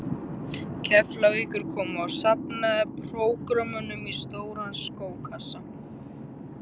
Keflavíkur komu og safnaði prógrömmunum í stóran skókassa.